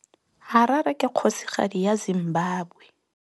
Harare ke kgosigadi ya Zimbabwe.